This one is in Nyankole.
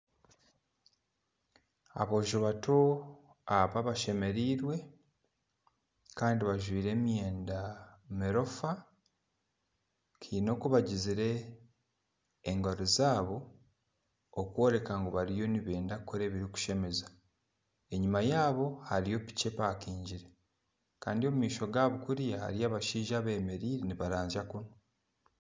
Aboojo bato aba bashemerirwe kandi bajwaire emyenda emiroofa haine oku bagizire engaro zaabo okworeka ngu bariyo nibenda kukora ebirikushemeza, enyuma yaabo hariyo piiki epakingire kandi omu maisho gaabo kuriya hariyo abashaija abemereire nibarazya kunu